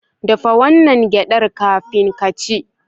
Dafa wannan gyaɗar kafin ka ci.